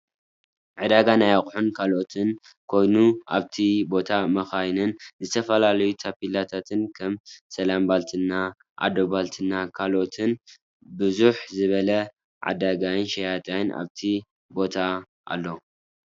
ዕዳጋ ናይ ኣቁሑን ካልኦትን ኮይኑ ኣብቲ ቦታ መካይንን ዝተፈላለዩ ታፔላታት ከም ሰላም ባልትና አዶት ባልትና ካልኦትን ብዝሕ ዝበለ ዓዳጋይን ሸያጣይን ኣብቲ ቦገታ ኣሎ።